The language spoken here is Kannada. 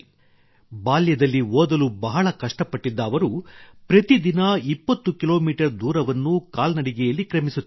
ಬಾಲ್ಯದಲ್ಲಿ ಓದಲು ಬಹಳ ಕಷ್ಟಪಟ್ಟಿದ್ದ ಅವರು ಪ್ರತಿದಿನ 20 ಕಿಲೋಮೀಟರ್ ದೂರವನ್ನು ಕಾಲ್ನಡಿಗೆಯಲ್ಲಿ ಕ್ರಮಿಸುತ್ತಿದ್ದರು